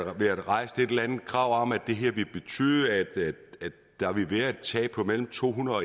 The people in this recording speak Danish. har været rejst et eller andet krav om at det her ville betyde at der ville være et tab på mellem to hundrede